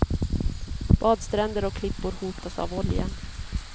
Badstränder och klippor hotas av oljan.